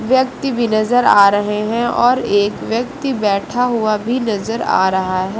व्यक्ति भी नजर आ रहे हैं और एक व्यक्ति बैठा हुआ भी नजर आ रहा है।